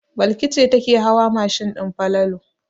Balki ce take hawa mashin din Falalu.